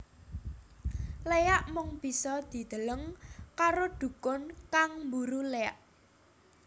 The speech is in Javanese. Léak mung bisa dideleng karo dhukun kang mburu léak